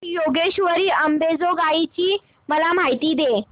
श्री योगेश्वरी अंबेजोगाई ची मला माहिती दे